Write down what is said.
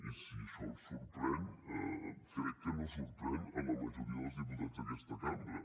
i si això el sorprèn crec que no sorprèn la majoria dels diputats d’aquesta cambra